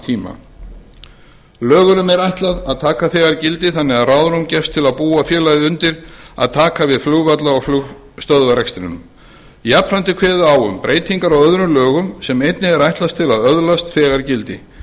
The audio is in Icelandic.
tíma lögunum er ætlað að taka þegar gildi þannig að ráðrúm gefist til að búa félagið undir að taka við flugvalla og flugstöðvarrekstrinum jafnframt er kveðið á um breytingar á öðrum lögum sem einnig er ætlað að öðlast þegar gildi þar